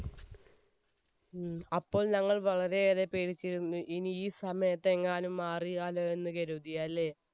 ഉം. അപ്പോൾ ഞങ്ങൾ വളരെയേറെ പേടിച്ചിരുന്നു, ഇനി ഈ സമയത്തെങ്ങാനും മാറിയാലോ എന്നുകരുതി അല്ലെ?